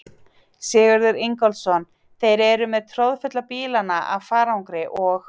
Sigurður Ingólfsson: Þeir eru með troðfulla bílana af farangri og?